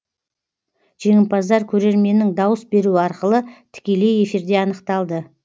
жеңімпаздар көрерменнің дауыс беруі арқылы тікелей эфирде анықталды